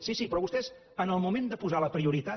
sí sí però vostès en el moment de posar la prioritat